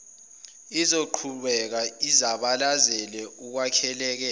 izokuqhubeka izabalazele ukwelekelela